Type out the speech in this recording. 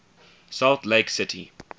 salt lake city